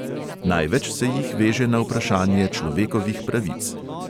Največ se jih veže na vprašanje človekovih pravic.